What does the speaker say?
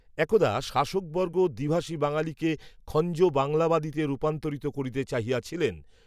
একদা শাসকবর্গ দ্বিভাষী বাঙালিকে, খঞ্জ বাংলাবাদীতে রূপান্তরিত করিতে চাহিয়াছিলেন